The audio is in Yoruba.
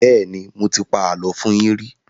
Bẹ́ẹ́nì, mo ti pa àlọ́ fún yín rí.